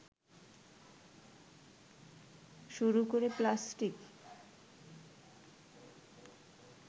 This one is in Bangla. শুরু করে প্লাস্টিক